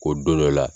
Ko don dɔ la